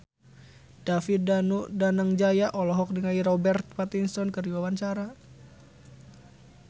David Danu Danangjaya olohok ningali Robert Pattinson keur diwawancara